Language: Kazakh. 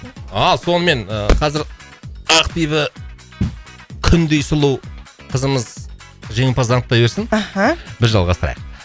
ал сонымен ыыы қазір ақбибі күндей сұлу қызымыз жеңімпазды анықтай берсін аха біз жалғастырайық